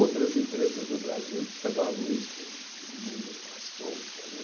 Outras empresas do Brasil levavam isso meio à solta, né?